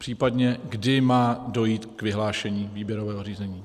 Případně kdy má dojít k vyhlášení výběrového řízení.